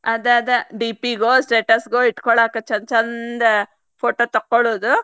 ಆದ ಆದ DP ಗೋ status ಗೋ ಇಟ್ಕೋಳಾಕ ಚಂದ್ ಚಂದ photo ತಕ್ಕೊಳ್ಳುದು.